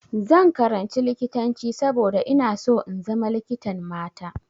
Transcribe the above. Zan karanci likitanci saboda ina so in zama likitan mata.